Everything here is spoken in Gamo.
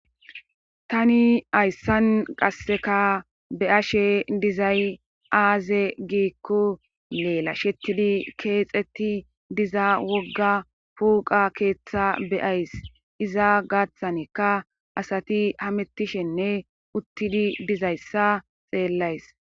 tani hayssan qasseka be ashe dizay aaze giikko leela shettidi keexetti diza wogga puuqa keeththa beyays iza gaththanekka asati hamettishenne uttidi dizayssa xeellays